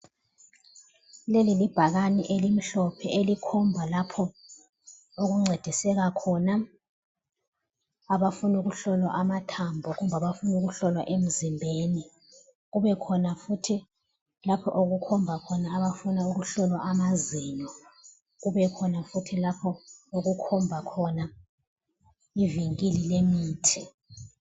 Leli libhakani elimhlophe elikhomba lapho okuncediseka khona abafuna ukuhlolwa amathambo kumbe abafuna ukuhlolwa emzimbeni. Kubekhona futhi lapho okukhombakhona abafuna ukuhlolwa amazinyo kubekhona futhi lapha okukhombakhona ivinkili lemithi.